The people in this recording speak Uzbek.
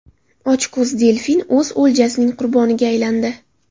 Ochko‘z delfin o‘z o‘ljasining qurboniga aylandi.